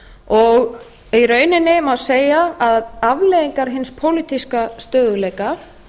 stöðugleiki í rauninni má segja að afleiðingar hins pólitíska stöðugleika